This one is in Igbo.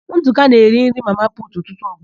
Ndụka na-eri nri mama putu ụtụtụ ọbụla.